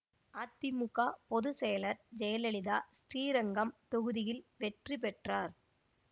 அதிமுக பொது செயலர் ஜெயலலிதா ஸ்ரீரங்கம் தொகுதியில் வெற்றி பெற்றார்